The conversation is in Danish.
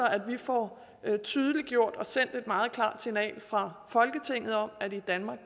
at vi får tydeliggjort og sendt et meget klart signal fra folketinget om at i danmark